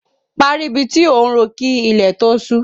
Parí ibi tí ò ń ro kí ilẹ̀ tó ṣú!